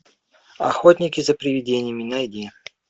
охотники за привидениями найди